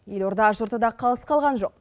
елорда жұрты да қалыс қалған жоқ